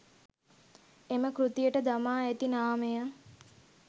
එම කෘතියට දමා ඇති නාමය